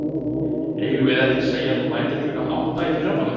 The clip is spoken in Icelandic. Eigum við ekki að segja að þú mætir klukkan átta í fyrramálið.